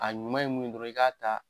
A ɲuman ye mun ye dɔrɔn i k'a ta